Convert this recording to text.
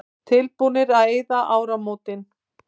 Tilbúnir að eyða í áramótin